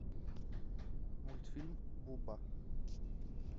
мультфильм буба